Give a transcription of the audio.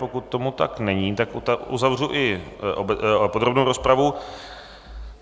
Pokud tomu tak není, tak uzavřu i podrobnou rozpravu.